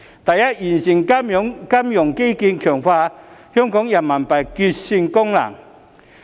第一，完善金融基建，強化香港人民幣結算功能。